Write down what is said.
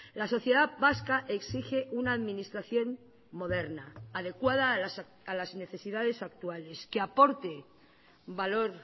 la sociedad vasca exige una administración moderna adecuada a las necesidades actuales que aporte valor